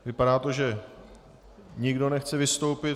Vypadá to, že nikdo nechce vystoupit.